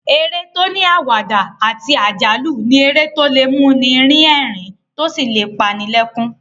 Eré tó ní àwàdà àti àjálù ni eré tó lè mú ni rín ẹ̀rín tó sì lè pa ni lẹ́kún